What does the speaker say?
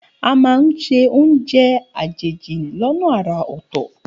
A máa ń sè oúnjẹ àjèjì lọ́nà àrà ọ̀tọ̀.